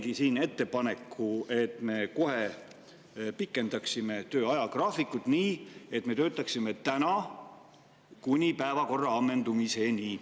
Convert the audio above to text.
" Ma teengi ettepaneku, et me pikendaksime töö ajagraafikut kohe nii, et me töötaksime täna kuni päevakorra ammendumiseni.